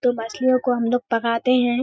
तो मछलियों को हमलोग पकाते हैं।